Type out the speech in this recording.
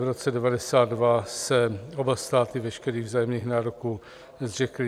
V roce 1992 se oba státy veškerých vzájemných nároků zřekly.